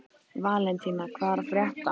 Valentína, hvað er að frétta?